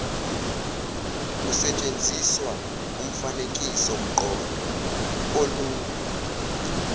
kusetshenziswa umfanekisomqondo olula